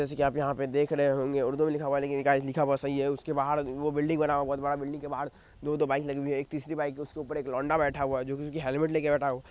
जैसे की आप यहा पर देख रहे इनमे उर्दू मे लिखा हुआ है लेकिन इनका लिखा हुआ सही है इसके बाहर वो बिल्डिंग बना हुआ है बहोत बड़ा बिल्डिंग के बाहर दो दो बाइक्स लगी हुई है एक तीसरी बाइक जिसके ऊपर एक लौंडा बैठा हुआ है जिसके हेलमेट लेके बैठा--